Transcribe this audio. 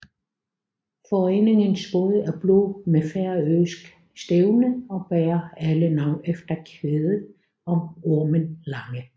Foreningens både er blå med færøsk stævne og bærer alle navn efter kvædet om Ormen Lange